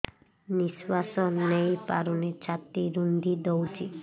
ନିଶ୍ୱାସ ନେଇପାରୁନି ଛାତି ରୁନ୍ଧି ଦଉଛି